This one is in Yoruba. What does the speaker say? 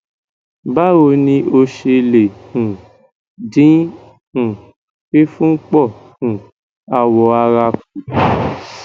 bawo ni o ṣe le um din um fifun po um awo ara ku